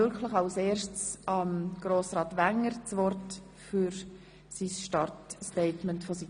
Somit gebe ich Grossrat Wenger das Wort.